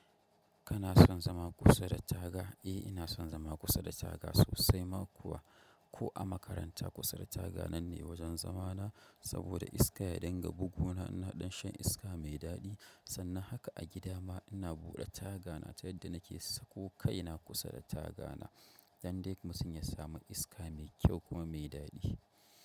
Kana son zama kusa da taga? Eh, ina son zama kusa da taga sosai ma kuwa. Ko a makaranta kusa da taga nan ne wajen zama na. Saboda iska ya danga buguna ina ɗan shan iska mai daɗi. Sannan haka a gida ma ina buɗe taga na ta yadda nake so, ko kai na kusa da taga na. Don dai mutum ya samu iska mai kyau kuma mai daɗi.